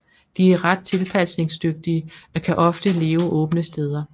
De er ret tilpasningningsdygtige og kan ofte leve åbne steder